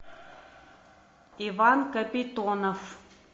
иван капитонов